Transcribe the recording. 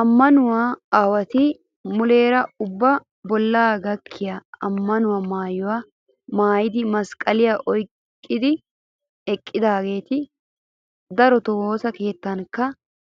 Ammanuwaa aawatu muleera ubba bollaa gakkiyaa ammanuwaa maayyuwaa maayyidi masqqaliyaa oyiqqidi eqqidaageeta. Daroto wosaa keettankka